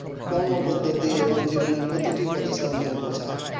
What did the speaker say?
কর্ম পরিধিটি এবং জোবনে প্রতিটি প্রশ্নে বোঝা